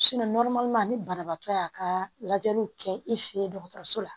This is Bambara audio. ni banabaatɔ y'a ka lajɛliw kɛ i fɛ yen dɔgɔtɔrɔso la